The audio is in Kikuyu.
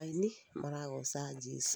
Aini maragoca jesũ